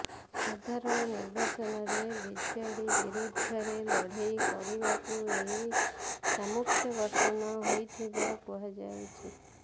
ସାଧାରଣ ନିର୍ବାଚନରେ ବିଜେଡି ବିରୋଧରେ ଲଢେଇ କରିବାକୁ ଏହି ସାମୁଖ୍ୟ ଗଠନ ହୋଇଥିବା କୁହାଯାଉଛି